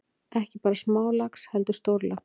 Ekki bara smálax heldur stórlax.